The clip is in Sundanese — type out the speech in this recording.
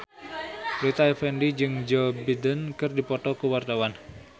Rita Effendy jeung Joe Biden keur dipoto ku wartawan